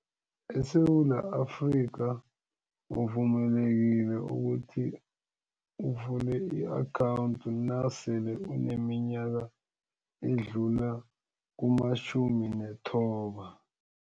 ESewula Afrika uvumelekile ukuthi uvule i-akhawundi nasele uneminyaka edlula kumatjhumi nethoba.